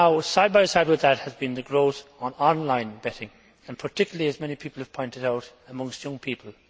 Side by side with that has been the growth of online betting particularly, as many people have pointed out, amongst young people.